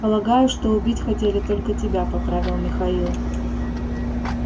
полагаю что убить хотели только тебя поправил михаил